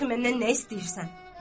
Ta dəxi məndən nə istəyirsən?